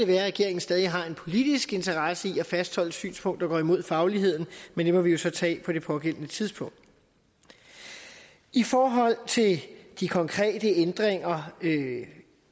være at regeringen stadig har en politisk interesse i at fastholde et synspunkt der går imod fagligheden men det må vi jo så tage på det pågældende tidspunkt i forhold til de konkrete ændringer